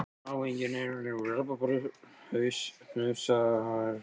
Má enginn eiga lengur rabbarbarahnausa í kálgarði fyrir þessum látum.